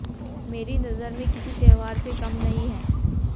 मेरी नजर में किसी त्योहार से कम नहीं है